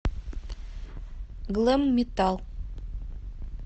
глэм метал